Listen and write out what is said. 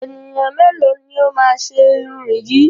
Ènìyàn mélòó ni ó máa ṣe irun yìí?